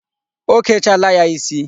O kechaala ya isi.